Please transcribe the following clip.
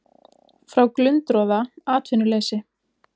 Frá glundroða, atvinnuleysi.